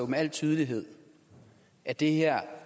med al tydelighed at det her